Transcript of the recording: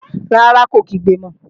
Rárá, kò kígbe mọ